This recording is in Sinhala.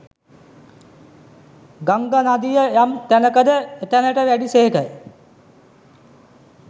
ගංගා නදිය යම් තැනක ද එතැනට වැඩි සේක